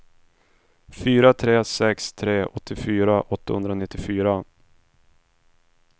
fyra tre sex tre åttiofyra åttahundranittiofyra